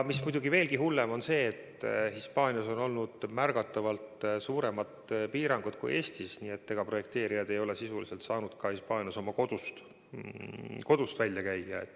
Veelgi hullem on see, et Hispaanias on olnud märgatavalt suuremad piirangud kui Eestis ja projekteerijad ei ole saanud Hispaanias oma kodustki väljas käia.